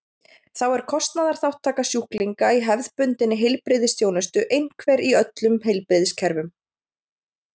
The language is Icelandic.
Þá er kostnaðarþátttaka sjúklinga í hefðbundinni heilbrigðisþjónustu einhver í öllum heilbrigðiskerfum.